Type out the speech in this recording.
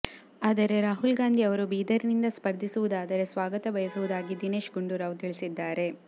ಆದರೆ ರಾಹುಲ್ ಗಾಂಧಿ ಅವರು ಬೀದರ್ ನಿಂದ ಸ್ಪರ್ಧಿಸುವುದಾದರೆ ಸ್ವಾಗತಬಯಸುವುದಾಗಿ ದಿನೇಶ್ ಗುಂಡೂರಾವ್ ತಿಳಿಸಿದ್ದಾರೆ